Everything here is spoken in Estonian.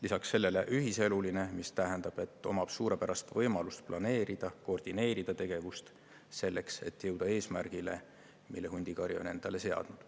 Lisaks sellele ühiseluline, mis tähendab, et ta omab suurepärast võimalust planeerida, koordineerida oma tegevust selleks, et jõuda eesmärgile, mille hundikari on endale seadnud.